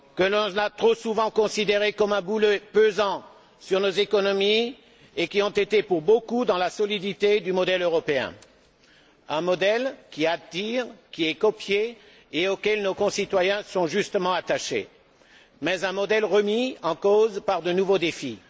On les a trop souvent considérés comme un boulet pesant sur nos économies et ils ont été pour beaucoup dans la solidité du modèle européen, un modèle qui attire, qui est copié, et auquel nos concitoyens sont justement attachés, mais un modèle remis en cause par de nouveaux défis.